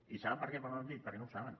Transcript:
i saben per què no ho han dit perquè no ho saben